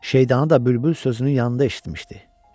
Şeydanı da bülbül sözünün yanında eşitmişdi.